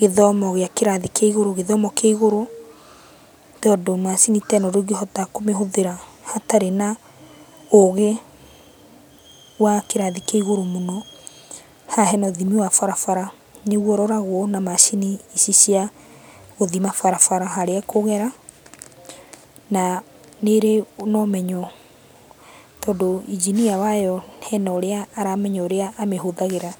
gĩthomo gĩa kĩrathi kĩa igũrũ, gĩthomo kĩa igũrũ. Tondũ macini ta ĩno ndũngĩhota kũmĩhũthĩra hatarĩ na ũgĩ wa kĩrathi kĩa igũrũ mũno. Haha hena ũthimi wa barabara nĩguo ũroragwo na macini ici cia gũthima barabara harĩa ĩkũgera, na nĩrĩ na ũmenyo, tondũ engineer wayo hena ũrĩa aramenya ũrĩa amĩhũthagĩra.